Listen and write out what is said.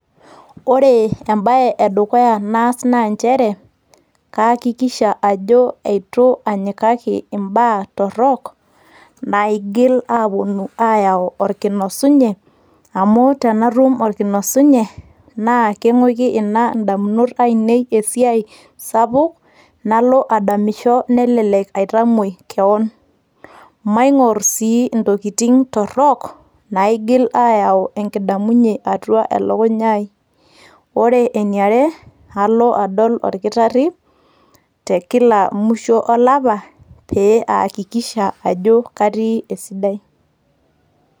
ore embaye edukuya naas naa nchere kayakikisha ajo eitu anyikaki imbaa torrok naigil aponu ayau orkinosunye amu tenatum orkinosunye naa king`uiki ina indamunot ainei esiai sapuk nalo adamisho nelelek aitamuoi kewon, maing`orr sii ntokitin torrok naigil ayau enkidamunye atua elukunya ai, wore eniare alo adol orkitarri te kila musho olapa pee aakikisha ajo katii esidai.